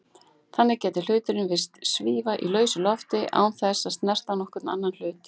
Þannig gæti hluturinn virst svífa í lausu lofti án þess að snerta nokkurn annan hlut.